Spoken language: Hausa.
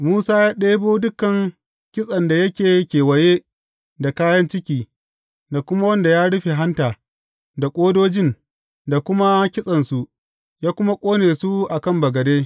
Musa ya ɗebo dukan kitsen da yake kewaye da kayan ciki, da kuma wanda ya rufe hanta, da ƙodojin, da kuma kitsensu, ya kuma ƙone su a kan bagade.